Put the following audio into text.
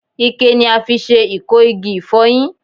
Ikẹ ni a fi se iko igi ifoyin